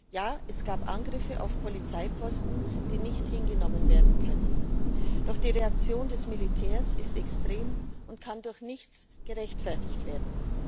Ja, es gab Angriffe auf Polizeiposten, die nicht hingenommen werden können. Doch die Reaktion des Militärs ist extrem und kann durch nichts gerechtfertigt werden.